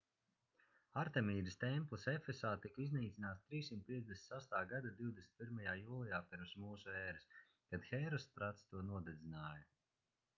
artemīdas templis efesā tika iznīcināts 356. gada 21. jūlijā p.m.ē. kad hērostrats to nodedzināja